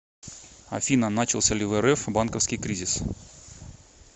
афина начался ли в рф банковский кризис